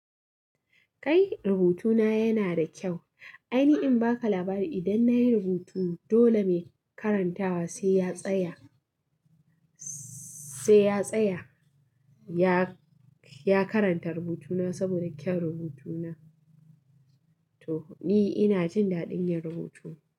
Kai rubutuna yana da kyau. Ai ni in baka labari idan nayi rubutu dole mai karantawa sai ya tsaya, sai ya tsaya. Ya, ya karanta rubutuna saboda kyan rubutuna. To ni ina jin daɗin yin rubutu.